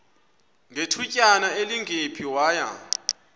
ngethutyana elingephi waya